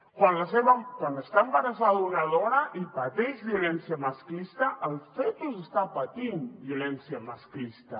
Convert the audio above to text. quan està embarassada una dona i pateix violència masclista el fetus està patint violència masclista